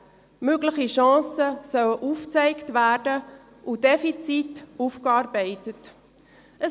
Mögliche Chancen sollen aufgezeigt und Defizite aufgearbeitet werden.